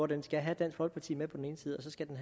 den skal have dansk folkeparti med på den ene side og så skal den